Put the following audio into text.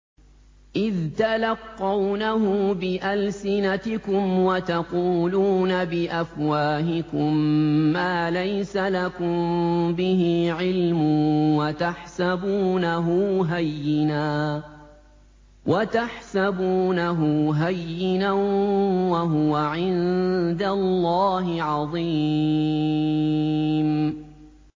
إِذْ تَلَقَّوْنَهُ بِأَلْسِنَتِكُمْ وَتَقُولُونَ بِأَفْوَاهِكُم مَّا لَيْسَ لَكُم بِهِ عِلْمٌ وَتَحْسَبُونَهُ هَيِّنًا وَهُوَ عِندَ اللَّهِ عَظِيمٌ